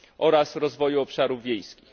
oraz rozwoju obszarów wiejskich.